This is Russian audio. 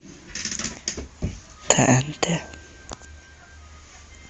тнт